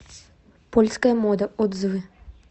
польская мода отзывы